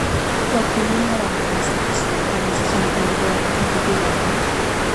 Wakulima wanapaswa kuanzisha mpango wa kudhibiti wadudu.